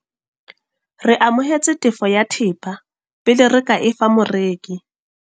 Re amohetse tefo ya thepa pele re e fa moreki.